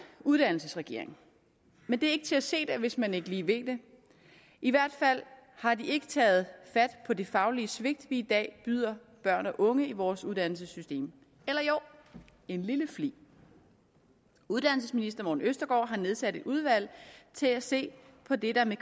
uddannelsesregering men det er ikke til at se det hvis man ikke lige ved det i hvert fald har de ikke taget fat på de faglige svigt vi i dag byder børn og unge i vores uddannelsessystem eller jo en lille flig uddannelsesministeren har nedsat et udvalg til at se på det der med